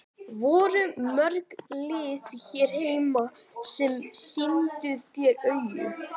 Voru mörg lið hér heima sem sýndu þér áhuga?